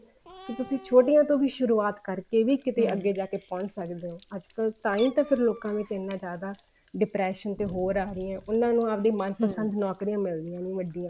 ਵੀ ਤੁਸੀਂ ਛੋਟੀਆਂ ਤੋਂ ਸ਼ੁਰੁਆਤ ਕਰਕੇ ਵੀ ਅੱਗੇ ਜਾ ਕੇ ਪਹੁੰਚ ਸਕਦੇ ਹਾਂ ਅੱਜਕਲ ਤਾਂਹੀ ਤਾਂ ਲੋਕਾਂ ਵਿੱਚ ਇੰਨਾ ਜਿਆਦਾ depression ਤੇ ਹੋਰ ਆ ਰਹੀਆਂ ਉਹਨਾ ਨੂੰ ਆਵਦੇ ਮਨ ਪਸੰਦ ਨੋਕਰੀਆਂ ਮਿਲਦੀਆਂ ਨੀ ਵੱਡੀਆਂ